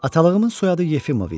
Atalığımın soyadı Yefimov idi.